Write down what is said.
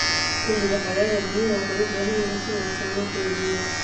Xilliga xagaaga, biyaha waxay u baahan yihiin in si wanaagsan loo kaydiyo.